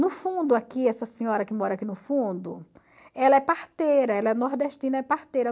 No fundo aqui, essa senhora que mora aqui no fundo, ela é parteira, ela é nordestina, é parteira.